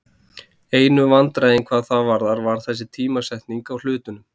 Einu vandræðin hvað það varðar var þessi tímasetning á hlutunum.